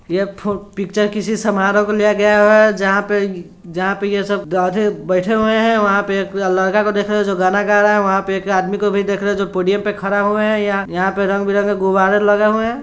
यह पिचर किसी समारोह का लिया गया है जहाँ पे जहाँ पे ये सब गधे बैठे हुए हैं वहाँ पर एक लड़का को देख रहे हो जो गाना गा रहा है वहाँ पर एक आदमी को भी देख रहे हो जो पोडियम पे खड़ा हुआ है यहाँ पर रंग बिरंगे गुब्बारे लगे हुए हैं।